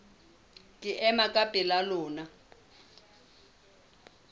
ke ema ka pela lona